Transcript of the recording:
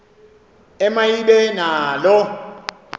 ema ibe nalo